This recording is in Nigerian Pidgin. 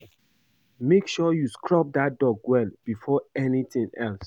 Make sure you scrub dat dog well before anything else